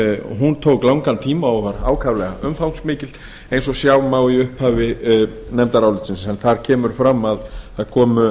hún tók langan tíma og var ákaflega umfangsmikil eins og sjá má í upphafi nefndarálitsins en þar kemur fram að það komu